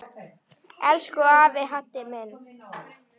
Elsku afi Haddi minn.